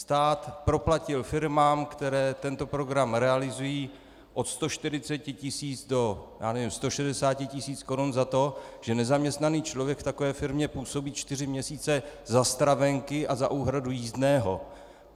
Stát proplatil firmám, které tento program realizují od 140 tisíc do - já nevím - 160 tisíc korun za to, že nezaměstnaný člověk v takové firmě působí čtyři měsíce za stravenky a za úhradu jízdného.